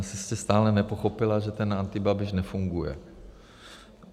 Asi jste stále nepochopila, že ten antibabiš nefunguje.